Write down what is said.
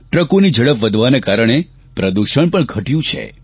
ટ્રકોની ઝડપ વધવાના કારણે પ્રદૂષણ પણ ઘટ્યું છે